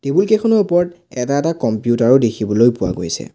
Table কেইখনৰ ওপৰত এটা এটা কম্পিউটাৰো দেখিবলৈ পোৱা গৈছে।